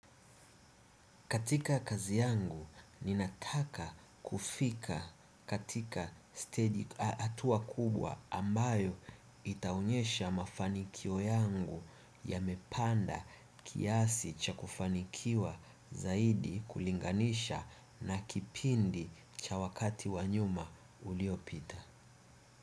Katika kazi yangu nina taka kufika katika stage hatua kubwa ambayo yataonyesha mafanikio yangu yamepanda kiasi cha kufanikiwa zaidi kulinganisha na kipindi cha wakati wanyuma uliopita.